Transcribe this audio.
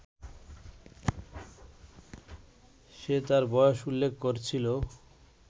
সে তার বয়স উল্লেখ করছিল